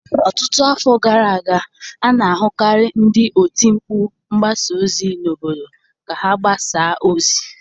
Ọtụtụ afọ gara aga, a na-ahụkarị ndị oti mkpu mgbasa ozi n'obodo ka ha agbasa ozi.